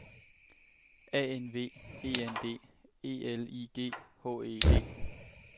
A N V E N D E L I G H E D